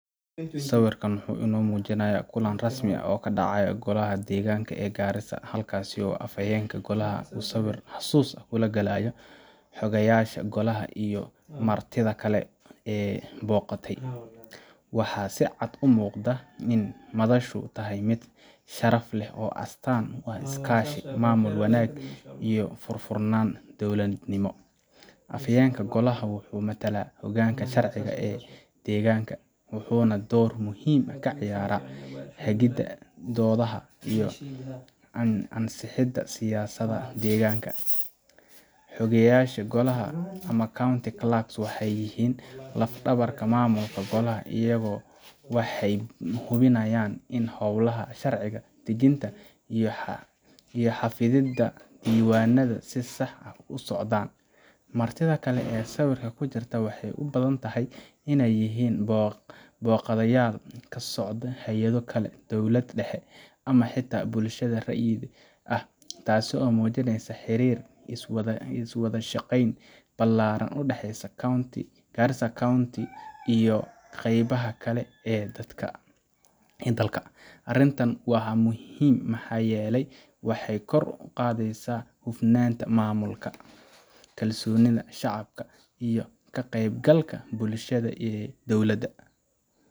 Sawirkan wuxuu inoo muujinayaa kulan rasmi ah oo ka dhacay Golaha Deegaanka ee Garissa, halkaas oo Afhayeenka Golaha uu sawir xusuus leh la galayo Xoghayeyaasha Golaha iyo martida kale ee booqatay. Waxaa si cad u muuqda in madashu tahay mid sharaf leh oo astaan u ah iskaashi, maamul wanaag, iyo furfurnaan dawladnimo. Afhayeenka Golaha wuxuu matalaa hoggaanka sharciga ee deegaanka, wuxuuna door muhiim ah ka ciyaaraa hagidda doodaha iyo ansixinta siyaasadaha deegaanka. Xoghayeyaasha Golaha ama County Clerks waxay yihiin laf-dhabarta maamulka Golaha iyagu waxay hubiyaan in howlaha sharci dejinta iyo xafididda diiwaannada si sax ah u socdaan. Martida kale ee sawirka ku jirta waxay u badan tahay inay yihiin booqdayaal ka socda hay’ado kale, dowlad dhexe, ama xitaa bulshada rayidka ah, taas oo muujinaysa xiriir iyo wada shaqayn ballaaran oo u dhexeeya Garissa County iyo qeybaha kale ee dalka. Arrintani waa muhiim maxaa yeelay waxay kor u qaadaysaa hufnaanta maamulka, kalsoonida shacabka, iyo ka qeybgalka bulshada ee dawlada.